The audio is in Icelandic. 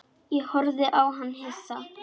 Ég horfði á hann hissa.